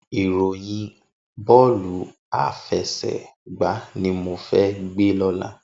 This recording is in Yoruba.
Iróyìn bòlú áfèsègbá ni mó fè gbé lòlá